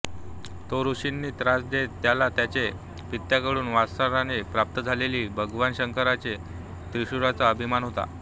तो ऋषींना त्रास देत त्याला त्याचे पित्याकडून वारसाने प्राप्त झालेल्या भगवान शंकराचे त्रिशूळाचा अभिमान होता